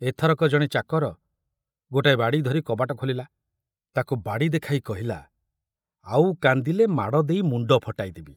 ଏଥରକ ଜଣେ ଚାକର ଗୋଟାଏ ବାଡ଼ି ଧରି କବାଟ ଖୋଲିଲା, ତାକୁ ବାଡ଼ି ଦେଖାଇ କହିଲା, ଆଉ କାନ୍ଦିଲେ ମାଡ଼ ଦେଇ ମୁଣ୍ଡ ଫଟାଇଦେବି।